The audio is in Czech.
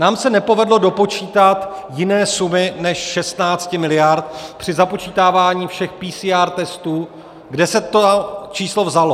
Nám se nepovedlo dopočítat jiné sumy než 16 miliard při započítávání všech PCR testů, kde se to číslo vzalo.